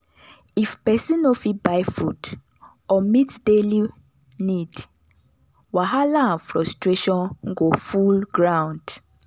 if pesin no fit buy food or meet daily need wahala and frustration go full ground.